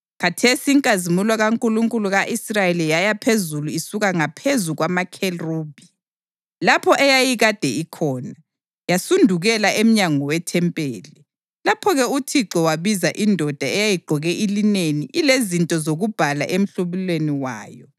Khathesi inkazimulo kaNkulunkulu ka-Israyeli yaya phezulu isuka ngaphezu kwamakherubhi, lapho eyayikade ikhona, yasudukela emnyango wethempeli. Lapho-ke uThixo wabiza indoda eyayigqoke ilineni ilezinto zokubhala emhlubulweni wayo